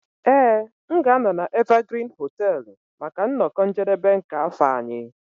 Ee m ga-anọ na Evergreen hoteelu maka nnọkọ njedebe nke afọ anyị.